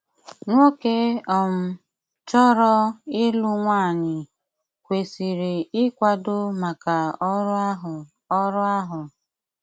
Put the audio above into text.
Nwókè um chọrọ ịlụ nwanyị kwesírí íkwádo mákà ọrụ áhụ ọrụ áhụ.